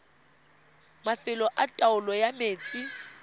mafelo a taolo ya metsi